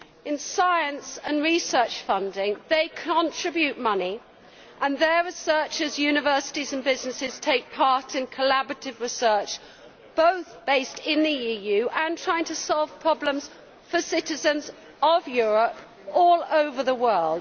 In science and research funding, it contributes money and its researchers, universities and businesses take part in collaborative research, both based in the EU and trying to solve problems for citizens of Europe all over the world.